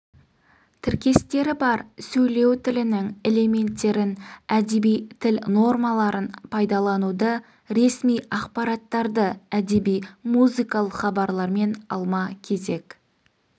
тіркестері бар сөйлеу тілінің элементтерін әдеби тіл нормаларын пайдалануды ресми ақпараттарды әдеби музыкалық хабарлармен алма-кезек